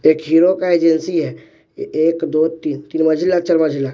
एक हीरो का एजेंसी है एक दो तीन तीन मंजिला चार मंजिला।